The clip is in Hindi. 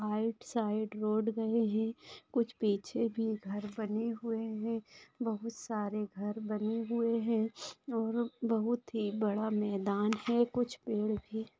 आइट साइड रोड गए है कुछ पीछे भी घर बने हुए है बोहोत सारे घर बने हुए है और बहुत ही बड़ा मैदान है कुछ पेड़--